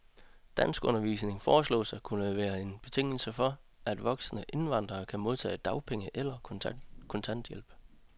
Danskundervisning foreslås at skulle være en betingelse for, at voksne indvandrere kan modtage dagpenge eller kontanthjælp.